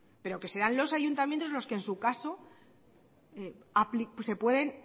pero que sean los ayuntamientos los que en su caso se pueden